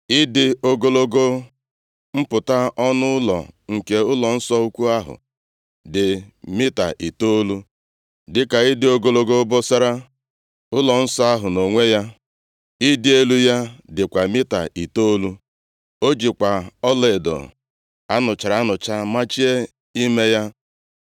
Ịdị ogologo mpụta ọnụ ụlọ nke ụlọnsọ ukwu ahụ dị mita itoolu, dịka ịdị ogologo obosara ụlọ nso ahụ nʼonwe ya. Ịdị elu ya dịkwa mita itoolu. O jikwa ọlaedo a nụchara anụcha machie ime ya.